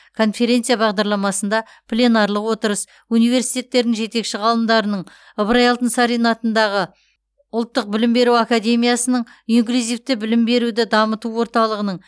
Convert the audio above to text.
конференция бағдарламасында пленарлық отырыс университеттердің жетекші ғалымдарының ыбырай алтынсарин атындағы ұлттық білім беру академиясының инклюзивті білім беруді дамыту орталығының